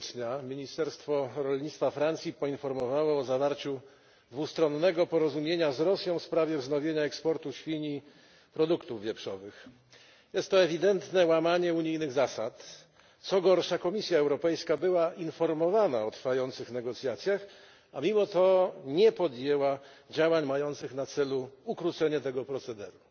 stycznia ministerstwo rolnictwa Francji poinformowało o zawarciu dwustronnego porozumienia z Rosją w sprawie wznowienia eksportu świń i produktów wieprzowych. Jest to ewidentne łamanie unijnych zasad, co gorsza Komisja Europejska była informowana o trwających negocjacjach, a mimo to nie podjęła działań mających na celu ukrócenie tego procederu.